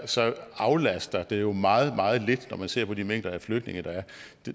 så aflaster det jo meget meget lidt når man ser på de mængder af flygtninge